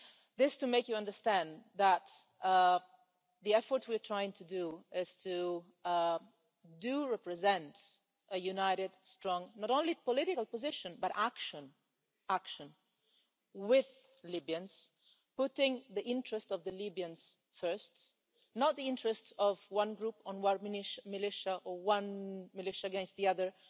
This is to make you understand that the effort we are trying to do is to represent a united, strong not only political position, but action action, with Libyans, putting the interest of the Libyans first, not the interests of one group, or one militia or one militia against the other,